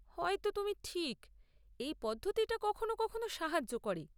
হয়তো তুমি ঠিক, এই পদ্ধতিটা কখনো কখনো সাহায্য করে।